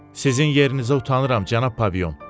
Sizin yerinizə utanıram, cənab Pavion.